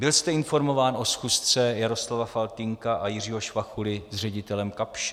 Byl jste informován o schůzce Jaroslava Faltýnka a Jiřího Švachuly s ředitelem Kapsche?